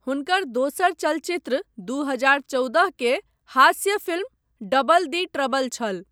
हुनकर दोसर चलचित्र दू हजार चौदह के हास्य फिल्म डबल दी ट्रबल छल।